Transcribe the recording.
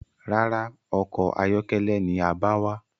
Rárá, ọkọ̀ ayọ́kẹ́lẹ́ ni a bá wá.